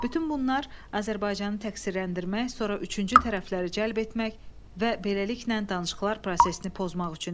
Bütün bunlar Azərbaycanı təqsirləndirmək, sonra üçüncü tərəfləri cəlb etmək və beləliklə danışıqlar prosesini pozmaq üçün edilir.